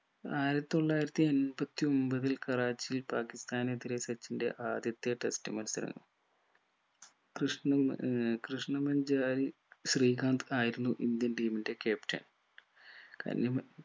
ആയിരത്തി തൊള്ളായിരത്തി എമ്പത്തി ഒമ്പതിൽ കറാച്ചിയിൽ പാകിസ്താനെതിരെ സച്ചിന്റെ ആദ്യത്തെ test മത്സരം കൃഷ്ണമു ഏർ കൃഷ്ണ മഞ്ചാരി ശ്രീകാന്ത് ആയിരുന്നു indian team ന്റെ captain കഞ്ഞി മ